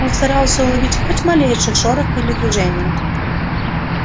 он старался уловить хоть малейший шорох или движение